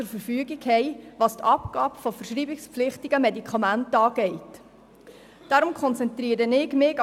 Was die Abgabe verschreibungspflichtiger Medikamente angeht, stehen uns hingegen keine Instrumente zur Verfügung.